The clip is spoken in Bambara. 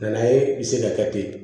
N nana ye i bɛ se ka kɛ ten